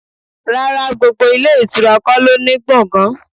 Rárá, gbogbo ilé ìtura kò ló ń ní gbọ̀ngan.